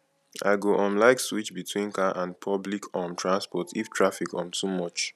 i go um like switch between car and public um transport if traffic um too much